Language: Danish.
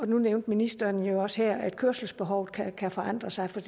nu nævnte ministeren jo også her at kørselsbehovet kan kan forandre sig